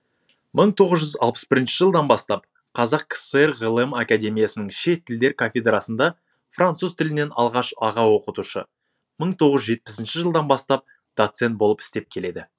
мың тоғыз жүз алпыс бірінші жылдан бастап қазақ кср ғылым академиясының шет тілдер кафедрасында француз тілінен алғаш аға оқытушы мың тоғыз жүз жетпісінші жылдан бастап доцент болып істеп келеді